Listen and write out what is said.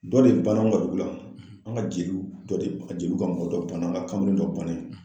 Dɔ de banna an ka dugu la, an ka jeliw dɔ de jeliw ka mɔgɔ dɔ banna an ga kamalen dɔ banna